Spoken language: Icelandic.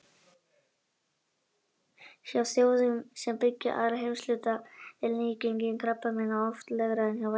Hjá þjóðum sem byggja aðra heimshluta er nýgengi krabbameina oft lægra en hjá vestrænum þjóðum.